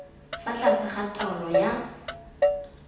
fa tlase ga taolo ya